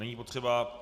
Není potřeba.